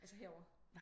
Altså her over